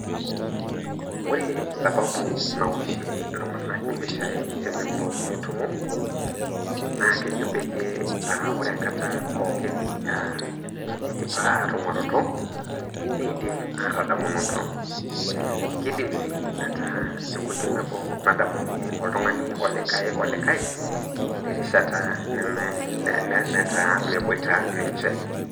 Ore sababu nawoshie iltunganak impishai tenelo netumo, naa kejo peyie aaa ore enkata pookin eidipa aatunguaroto neidim aatadamunoto. Keidim sii ataa enkoitoi nabo nadamunyie oltungani olikae olikae terishata nataa imeboita ninche